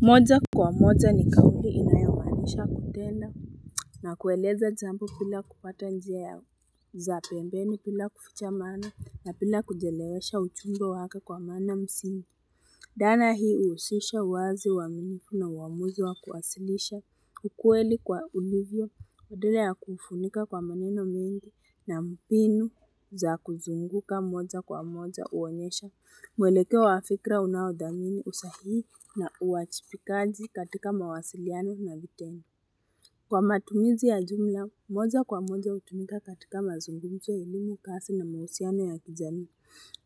Moja kwa moja ni kambi inayomaanisha kutenda na kueleza jambo bila kupata njia ya za pembeni, bila kufucha maana napenda kujelewesha uchumbo wake kwa maana msini. Dhana hii huhusisha uwazi, uaminifu na uamuzi wa kuasilisha, ukweli kuwa ulivyo, wadele ya kufunika kwa maneno mingi na mbinu za kuzunguka moja kwa moja huonyesha. Mwelekeo wa fikra unawadhamini, usahihi na uajibikaji katika mawasiliano na vitendo. Kwa matumizi ya jumla, moja kwa moja hutumika katika mazungumzo, elimu, kazi na mahusiano ya kijamii.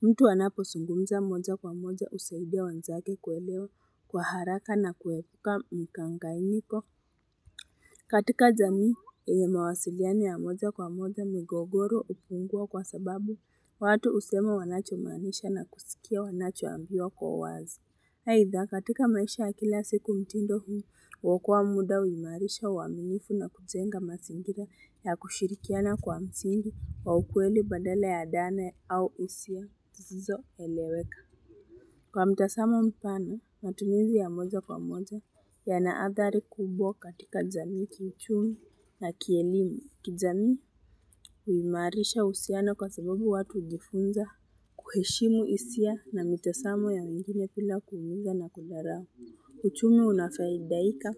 Mtu anapozungumza moja kwa moja husaidia wenzake kuelewa kwa haraka, na kuepuka mikanganyiko. Katika jamii, mawasiliano ya moja kwa moja, migogoro hupungua kwa sababu, watu husema wanachomaanisha na kusikia wanachoambiwa kwa uwazi. Aidha katika maisha kila siku mtindo huu, huokoa muda, huimarisha uaminifu, na kujenga mazingira ya kushirikiana kwa msingi wa ukweli badala ya ndane au hisia. Zisizoeleweka. Kwa mtazamo mpane, matumizi ya moja kwa moja yanaadhari kubwa katika jamii, kichumi na kielimu. Kijamii huimarisha uhusiano, kwa sababu watu hujifunza kuheshimu hisia na mitazamo ya wegine bila kuumiza na kundharao. Uchumu unafadhaika,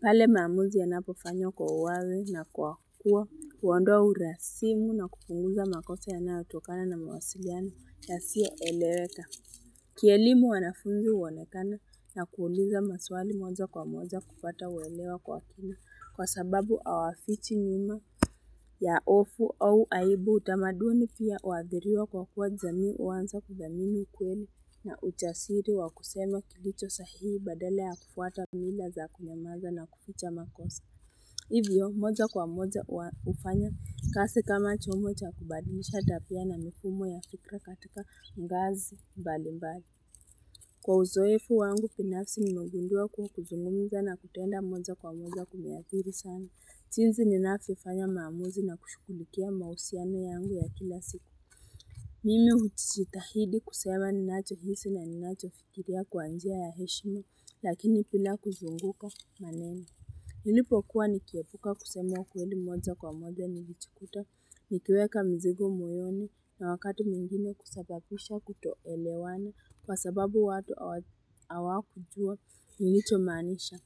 pale maamuzi yanapofanyo kwa uwawe na kwa kuwa. Hundoa urasimu na kupunguza makosa yanayotokana na mawasiliano yasiyoeleweka. Kielimu wanafunzi huonekana, na kuuliza maswali moja kwa moja kupata uwelewa kwa kina. Kwa sababu hawafichi nyuma. Ya hofu au aibu, utamaduni pia huadhiriwa kwa kuwa jamii huanza kudhamini ukweli, na ujasiri wa kusema kilicho sahihi, badala ya kufuata mila za kunyamaza na kuficha makosa. Hivyo, moja kwa moja hufanya kazi, kama chombo cha kubadimisha tabia na mifumo ya fikra katika ngazi mbali mbali. Kwa uzoeefu wangu, binafsi nimegundua kuwa, kuzungumza na kutenda moja kwa moja kumeadhiri sana. Jinsi ninavyofanya maamuzi na kushughulikia mahusiano yangu ya kila siku. Mimi hujitahidi kusema ninachohisi na ninachofikiria kwa njia ya heshima, lakini bila kuzunguka maneno. Nilipokuwa nikiepuka kusema ukweli, moja kwa moja nijikuta, nikiweka mizigo moyoni na wakati mwingine, kusababisha kutoolewana kwa sababu watu hawakujua nilichomaanisha.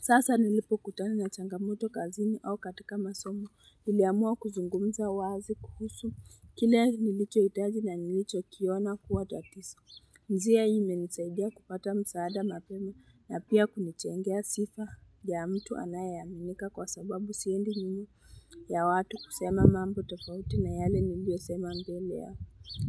Sasa nilipokutana na changamoto kazini au katika masomo, niliamua kuzungumza wazi kuhusu, kile nilichohitaji na nilichokiona kuwa tatizo. Njia hii imenisaidia kupata msaada mapema, na pia kunijengea sifa ya mtu anayeaminika, kwa sababu siendi minu ya watu kusema mambo tofauti na yale niliyo sema mbele ya.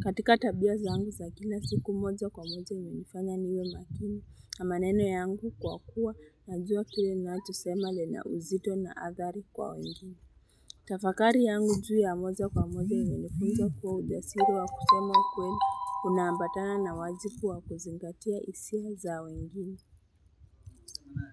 Katika tabia zangu za kila siku, moja kwa moja nilifanya niwe makini na maneno yangu, kwa kuwa najua kile ninachosema le na uzito na adhari kwa wengine Tafakari yangu juu ya moja kwa moja ilinifunza kuwa ujasiri wa kusema kweli unaambatana na wajibu wa kuzingatia hisia za wengine.